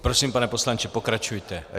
Prosím, pane poslanče, pokračujte.